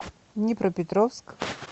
днепропетровск